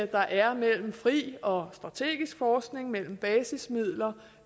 der er mellem fri og strategisk forskning mellem basismidler